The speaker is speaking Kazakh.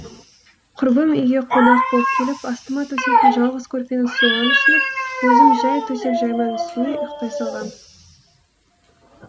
құрбым үйге қонақ болып келіп астыма төсейтін жалғыз көрпені соған ұсынып өзім жай төсекжайманың жайманың үстіне ұйықтай салғам